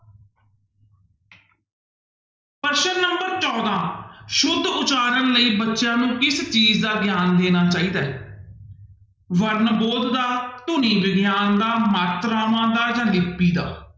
ਪ੍ਰਸ਼ਨ number ਚੌਦਾਂ ਸੁੱਧ ਉਚਾਰਨ ਲਈ ਬੱਚਿਆਂ ਨੂੰ ਕਿਸ ਚੀਜ਼ ਦਾ ਗਿਆਨ ਦੇਣਾ ਚਾਹੀਦਾ ਹੈ ਵਰਣਬੋਧ ਦਾ ਧੁਨੀ ਵਿਗਿਆਨ ਦਾ, ਮਾਤਰਾਵਾਂ ਦਾ ਜਾਂ ਲਿੱਪੀ ਦਾ।